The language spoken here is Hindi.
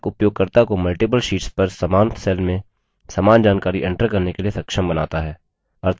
calc उपयोगकर्ता को multiple शीट्स पर समान cell में समान जानकारी enter करने के लिए सक्षम बनाता है